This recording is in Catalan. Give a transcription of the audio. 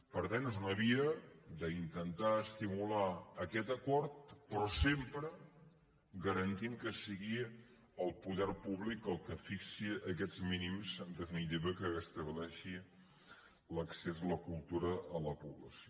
per tant és una via d’intentar estimular aquest acord però sempre garantint que sigui el poder públic el que fixi aquests mínims en definitiva que estableixi l’accés a la cultura per a la població